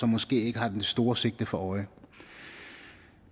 måske ikke har det store sigte for øje